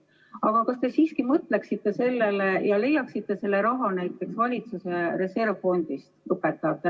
Aga kas te siiski mõtleksite sellele ja leiaksite õpetajatele selle raha näiteks valitsuse reservfondist?